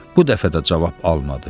Bu dəfə də cavab almadı.